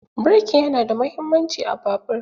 Birki yana da muhimmanci a babur.